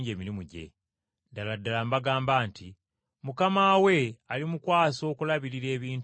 Ddala ddala mbagamba nti mukama we alimukwasa okulabirira ebintu bye byonna.